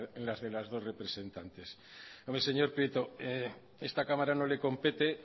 en las de las dos representantes bueno señor prieto a esta cámara no le compete